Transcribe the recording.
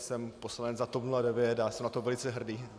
Jsem poslanec za TOP 09 a jsem na to velice hrdý.